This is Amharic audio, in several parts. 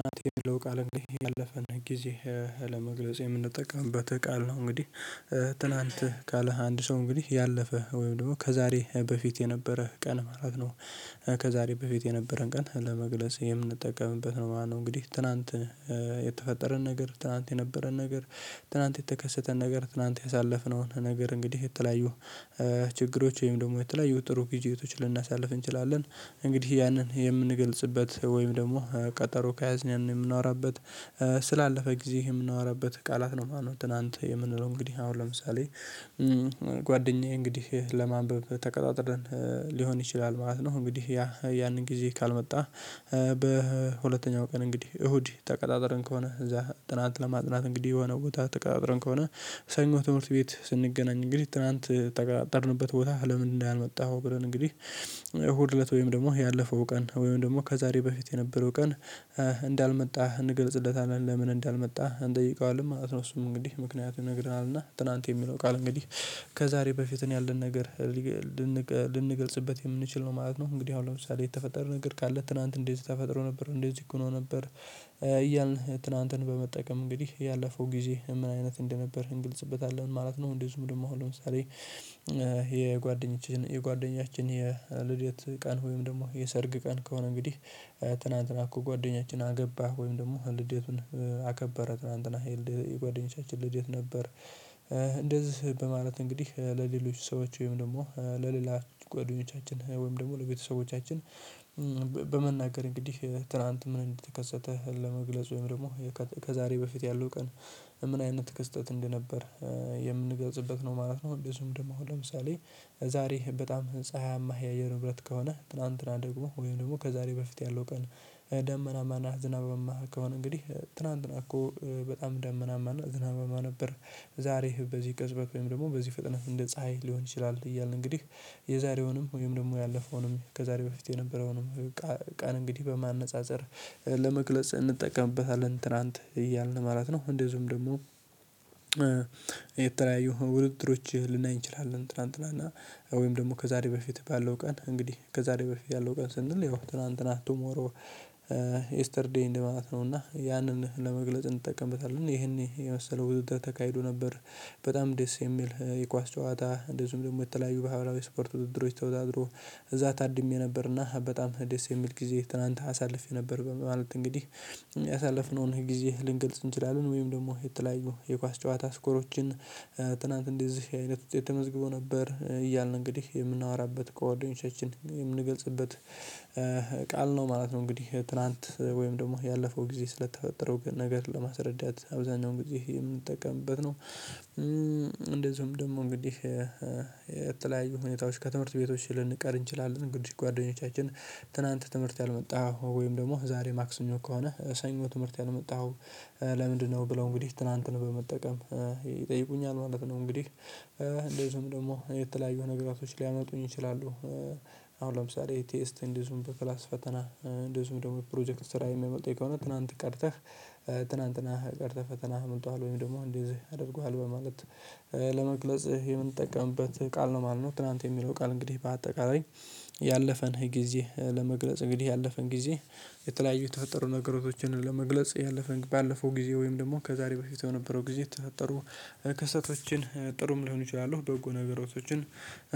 እናቴ የሚለው ቃል እንዴ ያለፈን ጊዜ ለመግለጽ የምንጠቀምበት ቃል ነው እንግዲህ ትናንትህ ካለ አንድ ሰው እንግዲህ ያለፈ ወይም ደግሞ ከዛሬ በፊት የነበረ ቀን ማለት ነው ከዛሬ በፊት የነበረን ቀን ለመግለጽ የምንጠቀምበት ነው። ማነው እንግዲህ ትላንት የተፈጠረን ነገር ትላንት የነበረን ነገር ትናንት የተከሰተን ነገር ትናንት ያሳለፍነውን ነገር እንግዲህ የተለያዩ ችግሮች ወይም ደግሞ የተለያዩ ጥሩ ቢዤቶችን ልናሳልፍ እንችላለን። እንግዲህ ያንን የምንገልጽበት ወይም ደግሞ ቀጠሮ ከያዝንን የምንወራበት ስላለፈ ጊዜ የምናወራበት ቃላት ነው ማነው ትናንት የምንለው እንግዲህ አሁን ለምሳሌ ጓደኛዬ እንግዲህ ለማንበብ ተቀጣጥረን ሊሆን ይችላል ማለት ነው እንግዲህ ያ ያንን ጊዜ ካልመጣ በሁለተኛው ቀን እንግዲህ እሁድ ተቀጣጥረን ከሆነ እዛ ጥናት ለማጥናት እንግዲህ የሆነ ቦታ አትቃብረን ከሆነ ሰኞ ትምህርት ቤት ስንገናኝ እንግዲህ ትላንት ጠርንበት ቦታ ለምን እንዳልመጣኸው ብለን እንግዲህ እሁድ እለት ወይም ደግሞ ያለፈው ቀን ወይም ደግሞ ከዛሬ በፊት የነበረው ቀን እንዳልመጣህ እንገልጽለታለን ለምን እንዳልመጣህ እንጠይቀዋለን ማለት ነው። እሱም እንግዲህ ምክንያት ይነግረናል እና ትላንት የሚለው ቃል እንግዲህ ከዛሬ በፊት ያለን ነገር ልንገልጽበት የምንችል ነው ማለት ነው እንግዲህ አሁን ለምሳሌ የተፈጠርን እግር ካለ ትላንት እንደዚህ ተፈጥሮ ነበር እንደዚህ እኮ ነው ነበር እያልን ትናንትን በመጠቀም እንግዲህ ያለፈው ጊዜ ምን አይነት እንደነበርክ እንግልጽበታለን ማለት ነው እንደዚሁም ደግሞ ለምሳሌ የጓደኛችን የልዴት ቀን ወይም ደግሞ የሰርግ ቀን ከሆነ እንግዲህ ትናንትና እኮ ጓደኛችን አገባ ወይም ደግሞ ልዴቱን አከበረ ትላንትና ይልድ የጓደኞቻችን ልዴት ነበር እንደዚህ በማለት እንግዲህ ለሌሎች ሰዎች ወይም ደግሞ ለሌላ ጓደኞቻችን ወይም ደግሞ ለቤተሰቦቻችን በመናገር እንግዲህ ትላንት ምን እንደተከሰተህ ለመግለጽ ወይም ደግሞ ከዛሬ በፊት ያለው ቀን ምን አይነት ከስህተት እንደነበር የምንገዝበት ነው ማለት ነው ብዙም ደግሞ ለምሳሌ ዛሬ በጣም ፀሀያማ የአየር ንብረት ከሆነ ትላንትና ደግሞ ወይም ደግሞ ከዛሬ በፊት ያለው ቀን ደመናማና ዝናባማ ከሆነ እንግዲህ ትላንት ነው እኮ በጣም ደመናማና ዝናብማ ነበር ዛሬ በዚህ ቅጽበት ወይም ደግሞ በዚህ ፍጥነት እንደ ፀሀይ ሊሆን ይችላል እያልን እንግዲህ የዛሬውንም ወይም ደግሞ ያለፈውንም ከዛሬ በፊት የነበረውንም ቃል እንግዲህ በማነፃፀር ለመግለጽ እንጠቀምበታለን ትላንት እያልን ማለት ነው እንደዚሁም ደግሞ የተለያዩ ውድድሮች ልናይ እንችላለን ትላንትናና እና ወይም ደግሞ ከዛሬ በፊት ባለው ቀን እንግዲህ ከዛሬ በፊት ያለው ቀን ስንል ያው ትናንት ናት ቱሞሮ የስተርዴይ እንደማለት ነው እና ያንን ለመግለጽ እንጠቀምበታለን። ይሄን የመሰለው ውድድር ተካሂዶ ነበር በጣም ደስ የሚል የኳስ ጨዋታ እንደዚሁም ደግሞ የተለያዩ በሃይላዊ ስፖርት ውድድሮች ተወዳድሮ እዛ ታድሜ ነበርና በጣም ደስ የሚል ጊዜ ትናንት አሳልፌ ነበር ማለት እንግዲህ ያሳለፍነውን ጊዜ ልንገልጽ እንችላለን ወይም ደግሞ የተለያዩ የኳስ ጨዋታ ስኮሮችን ትናንት እንደዚህ አይነት ውስጥ የተመዝግቦ ነበር እያልን እንግዲህ የምናወራበት ከጓደኞቻችን የምንገልጽበት ቃል ነው ማለት ነው እንግዲህ ትላንት ወይም ደግሞ ያለፈው ጊዜ ስለተፈጠረው ግን ነገር ለማስረዳት አብዛኛው ጊዜ የምንጠቀምበት ነው እንደዚሁም ደግሞ እንግዲህ የተለያዩ ሁኔታዎች ከትምህርት ቤቶች ልንቀር እንችላለን። እንግዲህ ጓደኞቻችን ትናንት ትምህርት ያልመጣው ወይም ደግሞ ዛሬ ማክሰኞ ከሆነ ሰኞ ትምህርት ያልመጣኸው ለምንድነው? ብለው እንግዲህ ትላንትን በመጠቀም ይጠይቁኛል ማለት ነው። እንግዲህ እንደዚሁም ደግሞ የተለያዩ ነገሮች ሊያመጡኝ ይችላሉ አሁን ለምሳሌ ቴስት እንዲዙም በክላስ ፈተና እንደዚሁም ደግሞ ፕሮጀክት ስራ የሚመጣኝ ከሆነ ትናንት ቀርተህ ትናንትናህ ቀርተህ ፈተናህ አምልጠዋል ወይም ደግሞ እንዲህ አድርገሃል በማለት ለመግለጽ የምንጠቀምበት ቃል ነው ማለት ነው ትላንት የሚለው ቃል እንግዲህ በአጠቃላይ ያለፈን የጊዜ ለመግለጽ እንግዲህ ያለፈን ጊዜ የተለያዩ ተፈጠሩ ነገሮችን ለመግለጽ ያለፈን ባለፈው ጊዜ ወይም ደግሞ ከዛሬ በፊት የነበረው ጊዜ ተፈጠሩ ክስተቶችን ጥሩም ሊሆን ይችላሉ በጎ ነገሮችን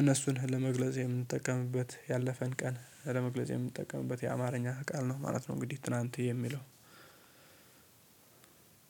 እነሱን ለመግለጽ የምንጠቀምበት ያለፈን ቀን ለመግለጽ የምንጠቀምበት የአማርኛ ቃል ነው ማለት ነው እንግዲህ ትናንት የሚለው